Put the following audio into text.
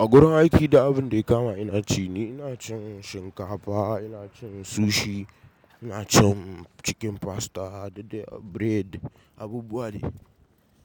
Agurin aiki dur abin da ya kama ina ci ni, ina cin shinkafa, ina cin sushi, ina cin cikin pasta da bread. Abubuwa ne.